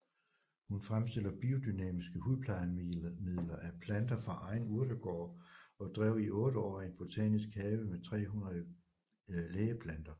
Hun fremstiller biodynamiske hudplejemidler af planter fra egen urtegård og drev i 8 år en botanisk have med 300 lægeplanter